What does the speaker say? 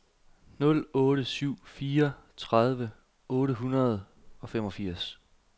nul otte syv fire tredive otte hundrede og femogfirs